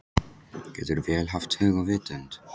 Getur vél haft hug og vitund?